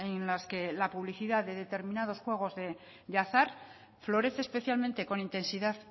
en las que la publicidad de determinados juego de azar florece especialmente con intensidad